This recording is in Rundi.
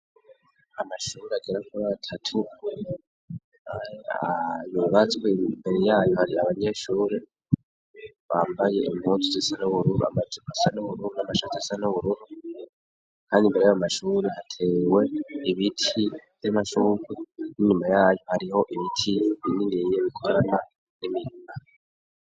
Amashuri agera kuri atatu yubatswe imbere yayo hari abanyeshuri bambaye impuzu zisa n'ubururu amajipo asa n'ubururu, n'amashati asa n'ubururu kandi imbere yayo mashuri hatewe ibiti vy'amashurwe n'inyuma yayo hariho ibiti bininiya bikorana n'imirima.